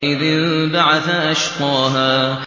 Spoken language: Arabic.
إِذِ انبَعَثَ أَشْقَاهَا